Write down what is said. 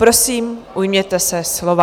Prosím, ujměte se slova.